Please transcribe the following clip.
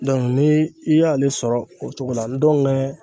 ni i y'ale sɔrɔ o cogo la n'o